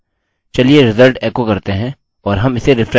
चलिए रिज़ल्ट एको करते हैं और हम इसे रिफ्रेश कर सकते हैं